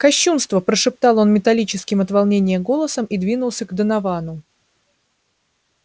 кощунство прошептал он металлическим от волнения голосом и двинулся к доновану